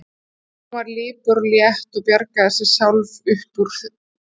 En hún var lipur og létt og bjargaði sér sjálf upp úr.